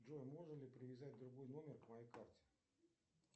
джой можно ли привязать другой номер к моей карте